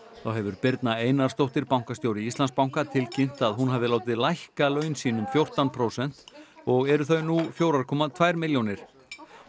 þá hefur Birna Einarsdóttir bankastjóri Íslandsbanka tilkynnt að hún hafi látið lækka laun sín um fjórtán prósent og eru þau nú fjóra komma tvær milljónir